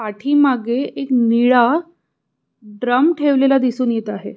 पाठीमागे एक निळा ड्रम ठेवलेला दिसून येत आहे.